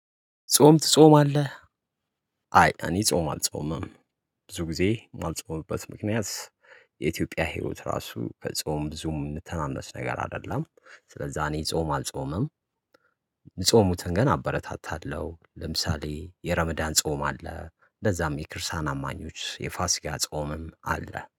ጾም ትጾማለህ? አይ አኒ ጾም አልጾምም ብዙ ጊዜ የማልጾምበት ምክንያት። የኢትዮጵያ ህይወት ራሱ ከጾም ብዙም የሚተናነስ ነገር አይደለም። ስለዛ እኔ ጾም አልጾምም። የሚጾሙትን ግን አበረታታለሁ ለምሳሌ የረመዳን ጾም አለ እንደዛም የክርስቲያን አማኞች የፋሲካ ጾምም አለ